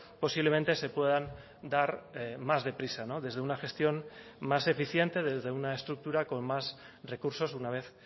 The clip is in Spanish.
posiblemente se puedan dar más deprisa desde una gestión más eficiente desde una estructura con más recursos una vez